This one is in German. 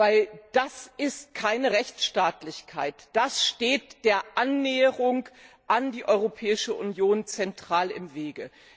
Denn das ist keine Rechtsstaatlichkeit, das steht der Annäherung an die Europäische Union zentral im Wege.